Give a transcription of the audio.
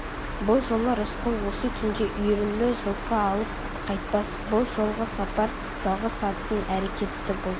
бұл жолы рысқұл осы түнде үйірлі жылқы алып қайтпас бұл жолғы сапар жалғыз аттың әрекеті бұл